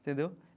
Entendeu?